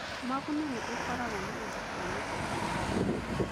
Maguna nĩ ĩkoragũo na indo cia mũthemba o wothe.